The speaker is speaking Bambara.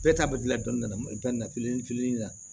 Bɛɛ ta bɛ gilan dɔɔnin dɔɔnin fitinin na